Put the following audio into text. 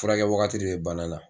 Furakɛ wagati de be bana la